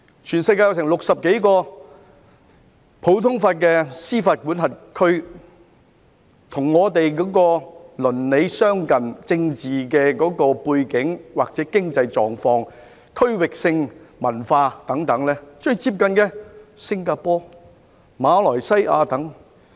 全球有60多個普通法系的司法管轄區，而與我們鄰里相近、政治背景或經濟狀況、區域性文化等最接近的，就有新加坡、馬來西亞等。